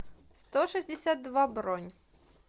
сто шестьдесят два бронь